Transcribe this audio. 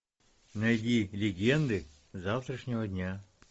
найди легенды завтрашнего дня